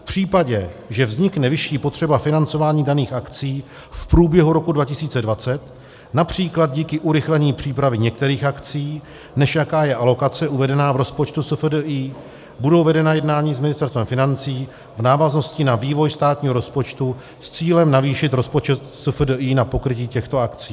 V případě, že vznikne vyšší potřeba financování daných akcí v průběhu roku 2020, například díky urychlení přípravy některých akcí, než jaká je alokace uvedená v rozpočtu SFDI, budou vedena jednání s Ministerstvem financí v návaznosti na vývoj státního rozpočtu s cílem navýšit rozpočet SFDI na pokrytí těchto akcí.